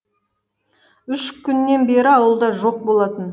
үш күннен бері ауылда жоқ болатын